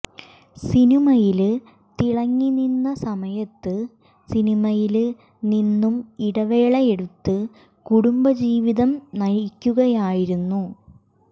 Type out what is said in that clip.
സിനിമയില് തിളങ്ങി നിന്ന സമയത്ത് സിനിമയില് നിന്നും ഇടവേളയെടുത്ത് കുടുംബ ജീവിതം നയിക്കുകയായിരുന്നു